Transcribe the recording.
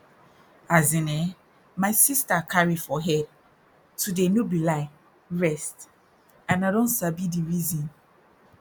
as in eh my sister carry for head to dey no be lie rest and i don sabi di reason